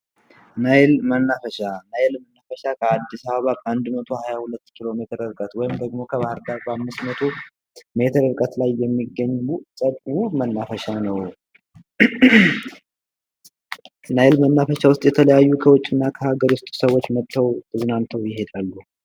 ናይል መናፈሻ ናይል መናፈሻ ከአዲስ አበባ ከአንድ መቶ 122 ኪሎሜትር ወይም ደግሞ ከባህርዳር በአምስት መቶ ሜትር ላይ የሚገኙ መናፈሻ ነው። ናይል መናፈሻ ከውስጥ የተለያዩ ከዉጪ እና ከሀገር ውስጥ ሰዎች መጥተው ተዝናንተው ይሄዳሉ።